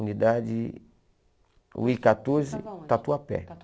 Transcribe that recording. Unidade... U i quatorze, estava onde, Tatuapé.